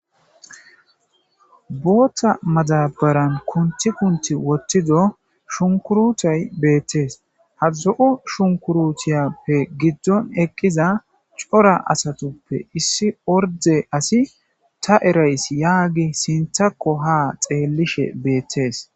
Booththa madabaran kunthi kunthi woththido shunkuruutuyi beettees. Ha zo7o shinkuruutiyappe giddon eqqiza cora asatuppe issi ordde asi ta eraysi yaagiyis intakko haa xeellishe beettees.